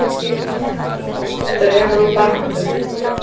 Dregur úr barnadauða